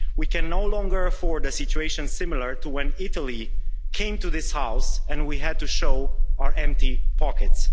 We can no longer afford a situation similar to when Italy came to this House and we had to show our empty pockets.